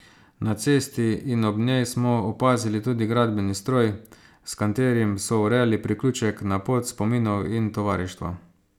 Na cesti in ob njej smo opazili tudi gradbeni stroj, s katerim so urejali priključek na Pot spominov in tovarištva.